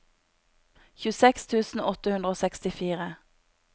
tjueseks tusen åtte hundre og sekstifire